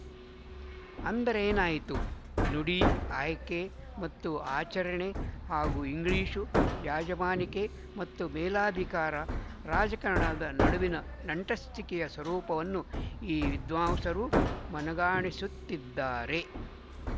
ಅಂದರೇನಾಯ್ತು ನುಡಿ ಆಯ್ಕೆ ಮತ್ತು ಆಚರಣೆ ಹಾಗೂ ಇಂಗ್ಲಿಶು ಯಾಜಮಾನಿಕೆ ಮತ್ತು ಮೇಲಧಿಕಾರ ರಾಜಕಾರಣದ ನಡುವಿನ ನಂಟಸ್ತಿಕೆಯ ಸ್ವರೂಪವನ್ನು ಈ ವಿದ್ವಾಂಸರು ಮನಗಾಣಿಸುತ್ತಿದ್ದಾರೆ